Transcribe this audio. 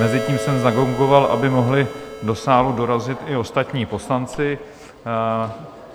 Mezitím jsem zagongoval, aby mohli do sálu dorazit i ostatní poslanci.